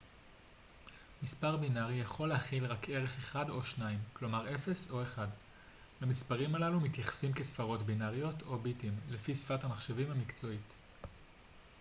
מספר בינרי יכול להכיל רק ערך אחד או שניים כלומר 0 או 1 למספרים הללו מתייחסים כספרות בינריות או ביטים לפי שפת המחשבים המקצועית